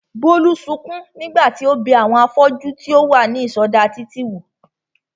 Bólú sukún nígbà tí ó bẹ àwọn afọ́jú tí ó wà ní ìsọdá títì wò